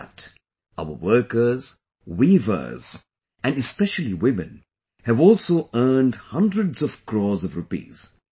Through that, our workers, weavers, and especially women have also earned hundreds of crores of rupees